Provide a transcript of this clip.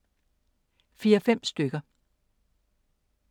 Fire-fem stykker.